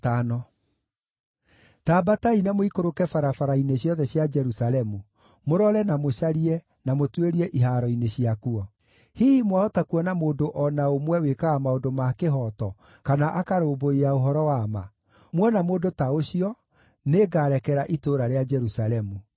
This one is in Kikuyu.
“Ta ambatai na mũikũrũke barabara-inĩ ciothe cia Jerusalemu, mũrore na mũcarie, na mũtuĩrie ihaaro-inĩ ciakuo. Hihi mwahota kuona mũndũ o na ũmwe wĩkaga maũndũ ma kĩhooto kana akarũmbũiya ũhoro wa ma; muona mũndũ ta ũcio, nĩngarekera itũũra rĩa Jerusalemu.